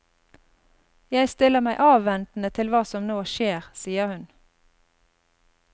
Jeg stiller meg avventende til hva som nå skjer, sier hun.